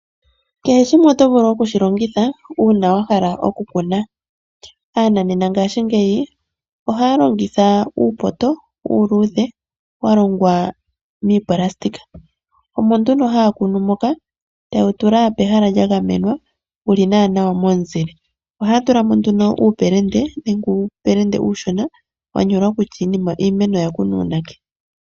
Kehe shimwe oto vulu oku shi longitha uuna wa hala oku kuna. Aananena ngaashingeyi ohaya longitha uupoto uuluudhe wa longwa moonayilona omo nduno haya kunu moka, taye wu tula pehala lya gamenwa wuli naana momuzile, ohaya tula mo nduno uupelende nenge uupelende uushona, wa nyolwa kutya iimeno oya kunwa uunake.